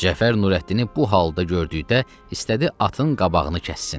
Cəfər Nurəddini bu halda gördükdə istədi atın qabağını kəssin.